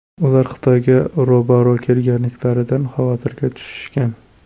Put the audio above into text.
Ular Xitoyga ro‘baro‘ kelganliklaridan xavotirga tushishgan.